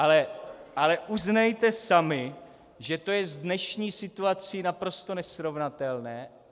Ale uznejte sami, že je to s dnešní situací naprosto nesrovnatelné.